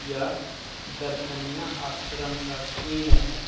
यह दर्शनीय आश्रम का सीन है।